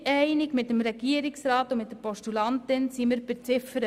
Was Ziffer 4 anbelangt, sind wir mit dem Regierungsrat und der Postulantin nicht einig.